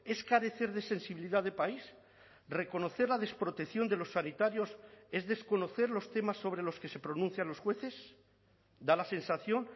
es carecer de sensibilidad de país reconocer la desprotección de los sanitarios es desconocer los temas sobre los que se pronuncian los jueces da la sensación